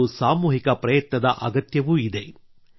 ಮತ್ತು ಸಾಮೂಹಿಕ ಪ್ರಯತ್ನದ ಅಗತ್ಯವೂ ಇದೆ